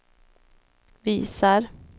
visar